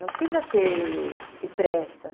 Não precisa ter... ter pressa.